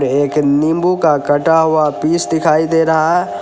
एक नींबू का कटा हुआ पीस दिखाई दे रहा है।